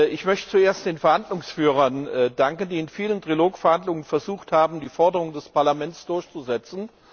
Ich möchte zuerst den Verhandlungsführern danken, die in vielen Trilogverhandlungen versucht haben, die Forderungen des Parlaments durchzusetzen.